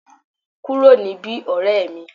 Ku ro ni bi, orẹ́ mi!